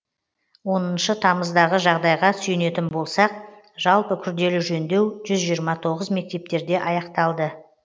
оныншы тамыздағы жағдайға сүйенетін болсақ жалпы күрделі жөндеу жүз жиырма тоғыз мектептерде аяқталды